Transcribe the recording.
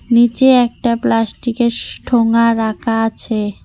নিচে একটা প্লাস্টিকের স্ ঠোঙ্গা রাখা আছে।